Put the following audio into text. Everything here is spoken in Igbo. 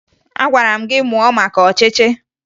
Agwara m gị mụo maka ọchịchị!